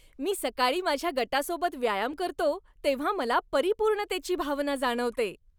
मी सकाळी माझ्या गटासोबत व्यायाम करतो तेव्हा मला परिपूर्णतेची भावना जाणवते.